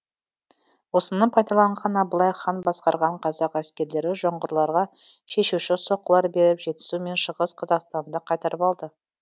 осыны пайдаланған абылай хан басқарған қазақ әскерлері жоңғарларға шешуші соққылар беріп жетісу мен шығыс қазақстанды қайтарып алды